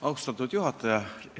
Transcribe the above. Austatud juhataja!